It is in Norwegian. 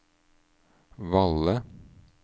Valle